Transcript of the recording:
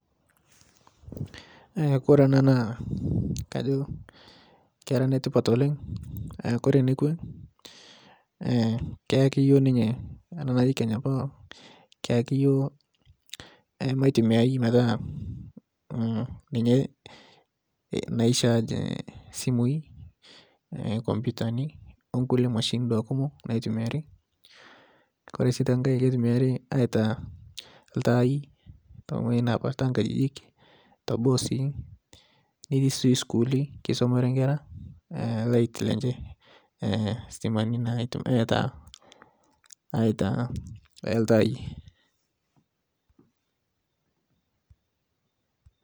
Kore ana naakajo kera netipat oleng, Kore nekwe keyaki yuo ninye ana naji Kenya power keyaki yuo maitumiai metaa ninye naishaj simui, komputani onkule mashinini kumo naitumiari. Kore si tenkae keitumiari aitaa ltai teng'joti nepaa tenkajijik teboo sii netii si skuuli keisomore nkera lait lenche stimani aitaa ltai.